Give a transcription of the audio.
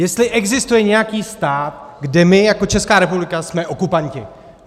Jestli existuje nějaký stát, kde my jako Česká republika jsme okupanti.